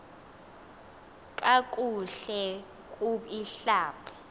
kakuhle kub ihlab